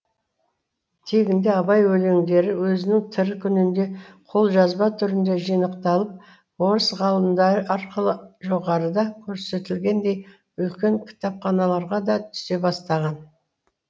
тегінде абай өлеңдері өзінің тірі күнінде қолжазба түрінде жинақталып орыс ғалымдары арқылы жоғарыда көрсетілгендей үлкен кітапханаларға да түсе бастаған